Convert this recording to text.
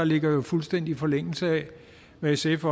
ligger i fuldstændig forlængelse af hvad sf